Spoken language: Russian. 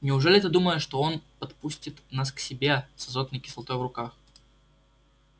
неужели ты думаешь что он подпустит нас к себе с азотной кислотой в руках